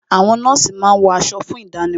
Àwọn nọ́ọ̀sì máa ń wọ aṣọ fún ìdánimọ̀